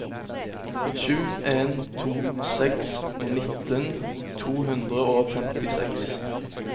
sju en to seks nitten to hundre og femtiseks